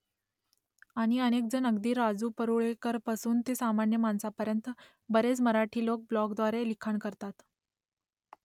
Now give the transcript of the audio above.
आणि अनेकजण अगदी राजू परूळेकरपासून ते सामान्य माणसापर्यंत बरेच मराठी लोक ब्लॉगद्वारे लिखाण करतात